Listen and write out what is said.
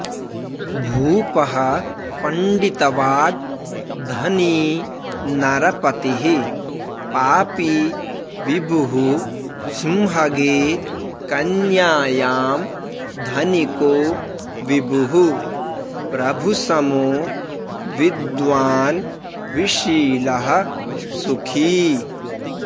भुपः पण्डितवाग् धनी नरपतिः पापी विभुः सिंहगे कन्यायां धनिको विभुः प्रभुसमो विद्वान् विशीलः सुखी